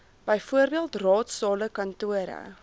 bv raadsale kantore